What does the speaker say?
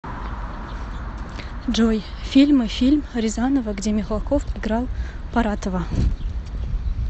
джой фильмы фильм рязанова где михалков играл паратова